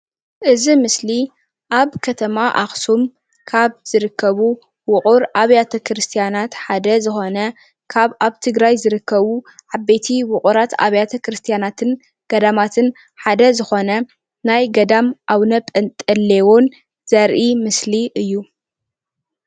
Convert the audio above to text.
እዚ ምስሊ ኣብ ከተማ ኣክሱም ካብ ዝርከቡ ውቅር ኣብያተ ክርስትያተ ክርስትያናት ሓደ ዝኮነ ካብ ኣብ ትግራይ ዝርከቡ ዓበይቲ ውቅራት ኣብያተ ክርስትያናትን ገዳማትን ሓደ ዝኾነ ናይ ገዳም ኣቡነ ጴንጤሎን ዘርኢ ምስሊ እዩ፡፡